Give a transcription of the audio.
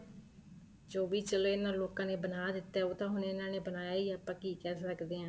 ਜੋ ਵੀ ਚਲੋਂ ਇਹਨਾ ਲੋਕਾਂ ਨੇ ਬਣਾ ਦਿੱਤਾ ਉਹ ਤਾਂ ਹੁਣ ਇਹਨਾ ਨੇ ਬਣਾਇਆ ਹੀ ਹੈ ਆਪਾਂ ਕੀ ਕਹਿ ਸਕਦੇ ਹਾਂ